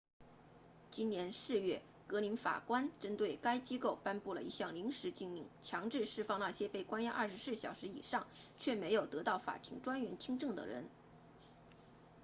今年4月格林法官针对该机构颁布了一项临时禁令强制释放那些被关押24小时以上却没有得到法庭专员听证的人